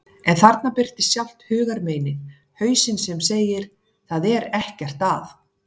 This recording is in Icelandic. En þarna birtist sjálft hugarmeinið, hausinn sem segir: Það er ekkert að.